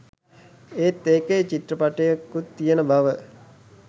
ඒත් එකේ චිත්‍රපටියකුත් තියෙන බව